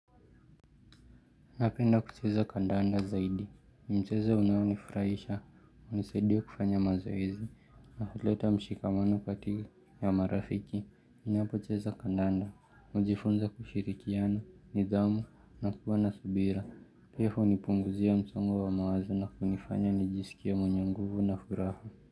Napenda kucheza kandanda zaidi. Mchezo unao nifurahisha. Unisaidia kufanya mazoezi. Na huleta mshikamano kati ya marafiki. Ninapocheza kandanda. Najifunza kushirikiana, nidhamu, na kuwa na subira. Pia hunipunguzia msongo wa mawazo na kunifanya nijisikie mwenye nguvu na furaha.